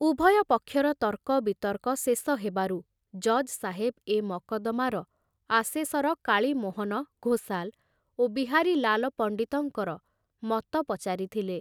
ଉଭୟ ପକ୍ଷର ତର୍କ ବିତର୍କ ଶେଷ ହେବାରୁ ଜଜ ସାହେବ ଏ ମକଦ୍ଦମାର ଆସେସର କାଳୀମୋହନ ଘୋଷାଲ ଓ ବିହାରୀଲାଲ ପଣ୍ଡିତଙ୍କର ମତ ପଚାରିଥିଲେ।